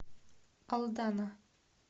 алдана